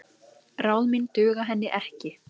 Ráð mín duga henni ekki.